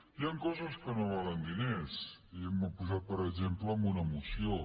hi han coses que no valen diners i ho hem posat per exemple en una moció